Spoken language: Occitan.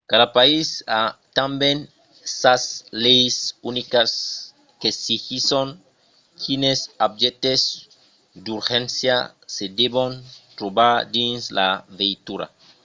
cada país a tanben sas leis unicas qu'exigisson quines objèctes d'urgéncia se devon trobar dins la veitura